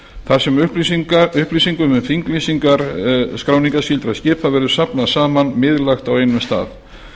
þar sem upplýsingum um þinglýsingar skráningarskyldra skipa verður safnað saman miðlægt á einum stað